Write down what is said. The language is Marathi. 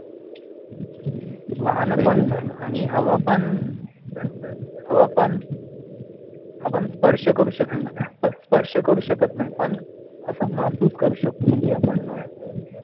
वाहन बंद झालं आणि हवा पण हवा पण आपण स्पर्श करू शकत नाही स्पर्श करू शकत नाही पण असं महसूस करू शकतो म्हणजे आपण अं